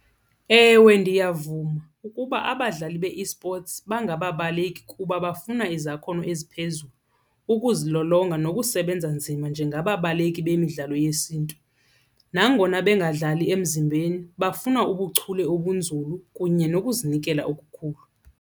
Ewe, ndiyavuma ukuba abadlali be-esports bangababaleki kuba bafuna izakhono eziphezulu, ukuzilolonga nokusebenza nzima njengababaleki bemidlalo yesiNtu. Nangona bengadlali emzimbeni bafuna ubuchule obunzulu kunye nokuzinikela okukhulu.